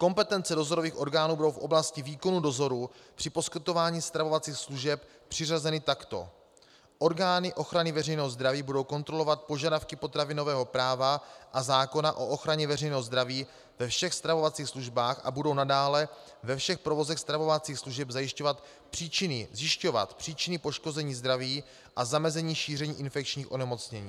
Kompetence dozorových orgánů budou v oblasti výkonu dozoru při poskytování stravovacích služeb přiřazeny takto: Orgány ochrany veřejného zdraví budou kontrolovat požadavky potravinového práva a zákona o ochraně veřejného zdraví ve všech stravovacích službách a budou nadále ve všech provozech stravovacích služeb zjišťovat příčiny poškození zdraví a zamezení šíření infekčních onemocnění.